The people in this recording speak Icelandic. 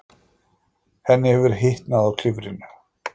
Henni hefur hitnað á klifrinu.